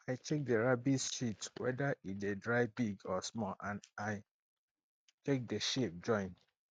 i check the rabbits shit whether e dey dry big or small and i check the shape join